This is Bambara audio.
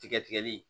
Tigɛ tigɛli